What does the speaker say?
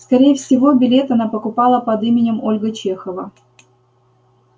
скорее всего билет она покупала под именем ольга чехова